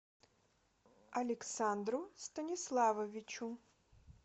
александру станиславовичу